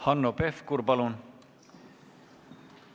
Hanno Pevkur, palun!